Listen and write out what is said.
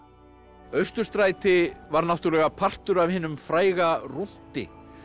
Austurstræti var náttúrulega partur af hinum fræga rúnti